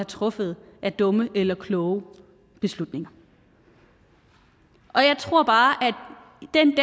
truffet af dumme eller kloge beslutninger og jeg tror bare